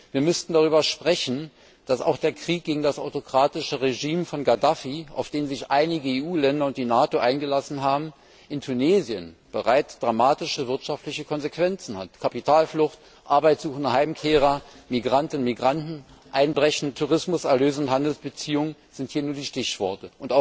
Wir müssten darüber sprechen, dass auch der Krieg gegen das autokratische Regime von Gaddafi, auf den sich einige EU Länder und die NATO eingelassen haben, in Tunesien bereits dramatische wirtschaftliche Konsequenzen hat Kapitalflucht, arbeitsuchende Heimkehrer, Migrantinnen und Migranten, einbrechende Tourismuserlöse und Handelsbeziehungen sind hier nur die Stichworte.